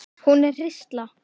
Hún er hrísla.